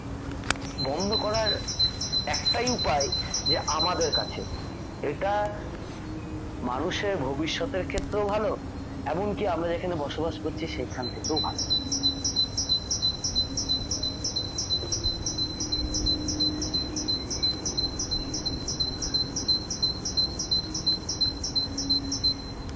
বন্ধ করার একটাই উপায় যে আমাদের কাছে এটা মানুষের ভবিষ্যতের ক্ষেত্রেও ভাল এমন কি আমরা যেখানে বসবাস করছি সেখান থেকেও ভাল।